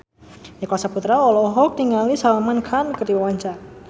Nicholas Saputra olohok ningali Salman Khan keur diwawancara